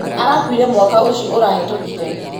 Arakuire mwaka ũcio ũrahĩtũkire.